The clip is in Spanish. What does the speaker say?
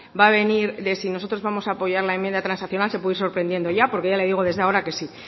va a venir de si nosotros vamos a apoyar la enmienda transaccional se puede ir sorprendiendo ya porque ya le digo desde ahora que sí